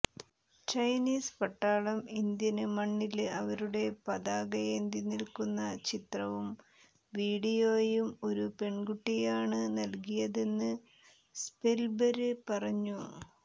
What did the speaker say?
Chinese പട്ടാളം Indian മണ്ണില് അവരുടെ പതാകയേന്തി നില്ക്കുന്ന ചിത്രവും വീഡിയോയും ഒരു പെണ്കുട്ടിയാണ് നല്കിയതെന്ന് സ്പല്ബര് പറഞ്ഞു